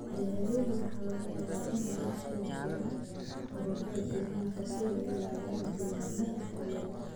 Beeralayda waxa laga yaabaa in ay la shuraakoobaan ururada deegaanka si ay u ilaaliyaan degaannada maxaliga ah.